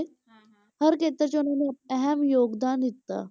ਹਰ ਖੇਤਰ 'ਚ ਉਹਨਾਂ ਨੇ ਅਹਿਮ ਯੋਗਦਾਨ ਦਿੱਤਾ।